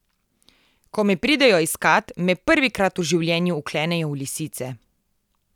Ko me pridejo iskat, me prvikrat v življenju vklenejo v lisice.